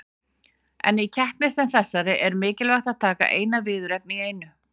En í keppni sem þessari er mikilvægt að taka eina viðureign í einu.